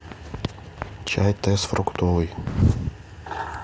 чай тесс фруктовый